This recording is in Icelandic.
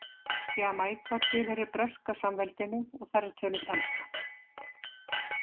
Jamaíka tilheyrir Breska samveldinu og þar er töluð enska.